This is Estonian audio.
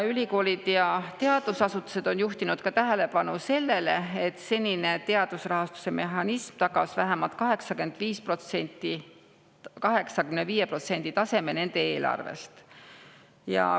Ülikoolid ja teadusasutused on juhtinud tähelepanu ka sellele, et senine teadusrahastuse mehhanism tagas vähemalt 85% nende eelarvest.